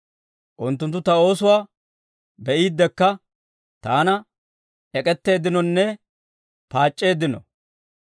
Unttunttu ta oosuwaa be'iidekka, taana ek'k'eteeddinonne paac'c'eeddino.